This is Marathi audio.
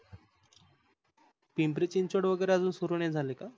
पिंपरी चिंचवड वगैरे अजून सुरु नाही झाल का?